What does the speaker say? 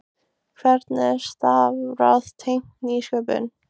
Hvernig er að starfa tengt nýsköpun?